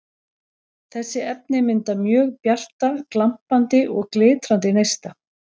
Þessi efni mynda mjög bjarta, glampandi og glitrandi neista.